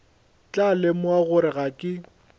tla lemoga gore ga ke